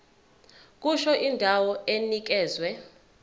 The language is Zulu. kusho indawo enikezwe